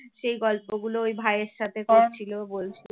সেই গল্পগুলো ওই ভাইয়ের সাথে করছিল বলছিল